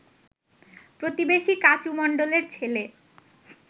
প্রতিবেশী কাচু মণ্ডলের ছেলে